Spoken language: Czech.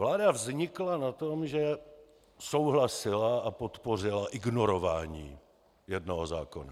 Vláda vznikla na tom, že souhlasila a podpořila ignorování jednoho zákona.